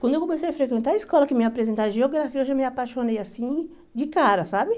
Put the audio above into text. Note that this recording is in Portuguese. Quando eu comecei a frequentar a escola, que me apresentaram a geografia, eu já me apaixonei assim, de cara, sabe?